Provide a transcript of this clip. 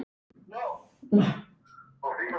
Og það hefurðu gert.